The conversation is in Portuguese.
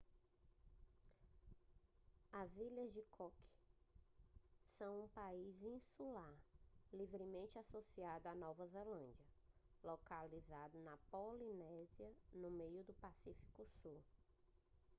as ilhas cook são um país insular livremente associado à nova zelândia localizado na polinésia no meio do pacífico sul